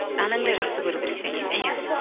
анаңдай жақсы көру керек және де иә